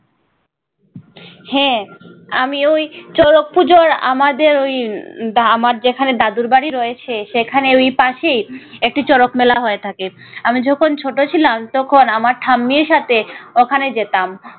হ্যাঁ আমিও ঐ সড়ক পূজোয় আমাদের ঐ আমার যেখানে দাদুর বাড়ি রয়েছে সেখানে ওই পাশেই একটি শরৎ মেলা হয়ে থাকে। আমি যখন ছোট ছিলাম তখন আমার ঠাম্মির সাথে ওখানে যেতাম।